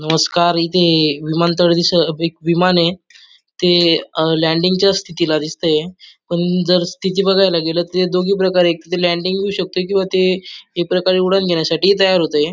नमस्कार इथे हे विमानतळ दिस एक विमान ये ते अंह लँडिंग च्या स्थितीला दिसतेय पण जर स्थिती बघायला गेलं तर ते दोघी प्रकारे एक ते लँडिंग होऊ शकत किंवा ते एक प्रकारे उडण घेण्यासाठी ही तयार होतय.